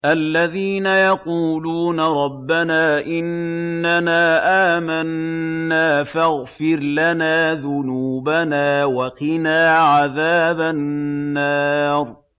الَّذِينَ يَقُولُونَ رَبَّنَا إِنَّنَا آمَنَّا فَاغْفِرْ لَنَا ذُنُوبَنَا وَقِنَا عَذَابَ النَّارِ